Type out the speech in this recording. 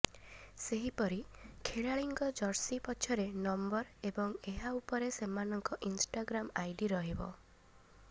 ସେହିପରି ଖେଳାଳିଙ୍କ ଜର୍ସି ପଛରେ ନମ୍ବର ଏବଂ ଏହା ଉପରେ ସେମାନଙ୍କ ଇନଷ୍ଟାଗ୍ରାମ ଆଇଡି ରହିବ